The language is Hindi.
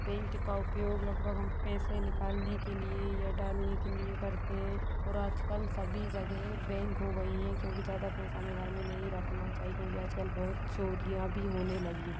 बैंक का उपयोग लगभग हम पैसा निकालने के लिए या डालने के लिए करते हें। और आजकल सभी जगह बैंक हो गई है क्यू की ज्यादा पैसा हमे घर मे नहीं रखना है क्यू की आज कल बहुत चोरियाँ भी होने लागि हें।